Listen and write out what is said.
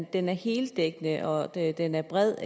den er helt dækkende og at den er bred